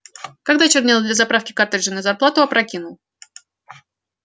когда чернила для заправки картриджей на зарплату опрокинул